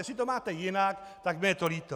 Jestli to máte jinak, tak mně je to líto.